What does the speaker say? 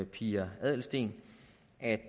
pia adelsteen at